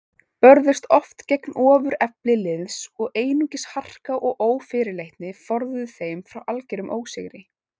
Börðust oft gegn ofurefli liðs og einungis harka og ófyrirleitni forðuðu þeim frá algerum ósigri.